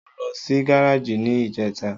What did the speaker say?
Mo lọ sí gáràjì ní ìjẹta.